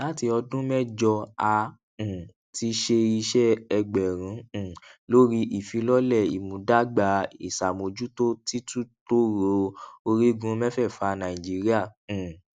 láti ọdún mẹjọ a um ti ṣe iṣẹ ẹgbẹrún um lórí ìfilọlẹ ìmúdàgbà ìṣàmójútó títútòòró orígun mẹfẹẹfà nàìjíríà um